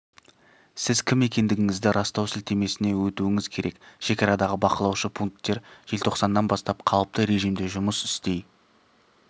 сіз кім екендігіңізді растау сілтемесіне өтуіңіз керек шекарадағы бақылаушы пункттер желтоқсаннан бастап қалыпты режимде жұмыс істей